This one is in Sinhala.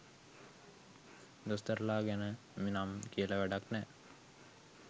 දොස්තරලා ගැන නම් කියල වැඩක් නෑ.